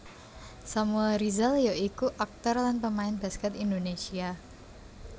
Samuel Rizal ya iku aktor lan pemain baskèt Indonésia